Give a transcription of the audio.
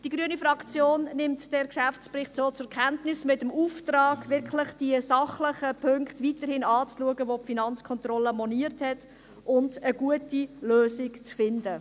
Die grüne Fraktion nimmt diesen Geschäftsbericht so zur Kenntnis, mit dem Auftrag, die sachlichen Punkte, welche die FK moniert hat, wirklich weiterhin anzuschauen und eine gute Lösung zu finden.